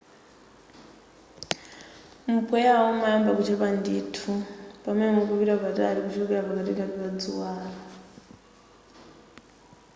mpweyawo umayamba kuchepa ndithu pamene mukupita patali kuchokera pakatikati pa dzuwalo